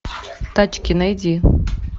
тачки найди